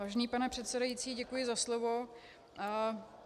Vážený pane předsedající, děkuji za slovo.